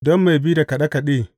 Don mai bi da kaɗe kaɗe.